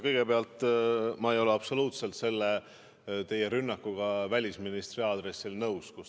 Kõigepealt, ma ei ole absoluutselt teie rünnakuga välisministri vastu nõus.